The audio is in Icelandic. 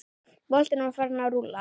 Boltinn var farinn að rúlla.